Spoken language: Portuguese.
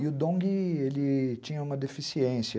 E o Dong ele tinha uma deficiência.